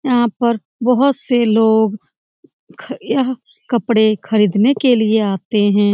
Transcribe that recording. यहाँ पर बहोत से लोग ख यह कपड़े खरीदने के लिए आते हैं ।